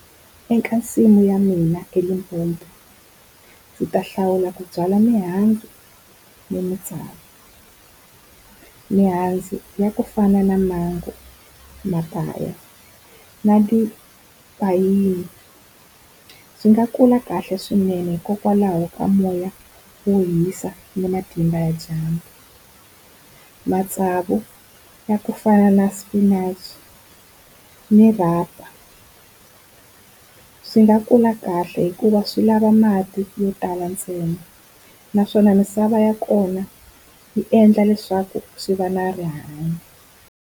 Eka nsimu ya mina eLimpopo ndzi ta hlawula ku byala mihandzu ni matsavu. Mihandzu ya ku fana na mango, mapaya na tipayini. Swi nga kula kahle swinene hikokwalaho ka moya wo hisa ni matimba ya dyambu. Matsavu ya kufana na spinach ni rhanga swi nga kula kahle hikuva swi lava mati yo tala ntsena naswona misava ya kona yi endla leswaku swi va na rihanyo.